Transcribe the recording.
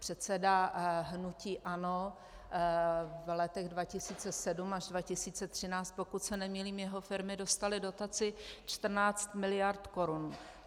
Předseda hnutí ANO v letech 2007 až 2013, pokud se nemýlím, jeho firmy dostaly dotaci 14 miliard korun.